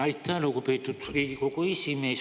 Aitäh, lugupeetud Riigikogu esimees!